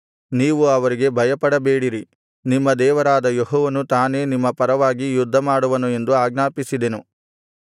ನೀವು ಅವರಿಗೆ ಭಯಪಡಬೇಡಿರಿ ನಿಮ್ಮ ದೇವರಾದ ಯೆಹೋವನು ತಾನೇ ನಿಮ್ಮ ಪರವಾಗಿ ಯುದ್ಧಮಾಡುವನು ಎಂದು ಆಜ್ಞಾಪಿಸಿದೆನು